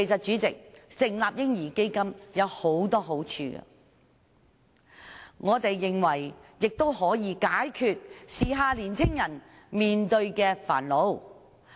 主席，成立"嬰兒基金"有很多好處，我們認為可以解決時下年青人面對的煩惱。